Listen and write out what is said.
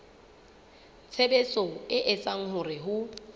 tshebetso e etsang hore ho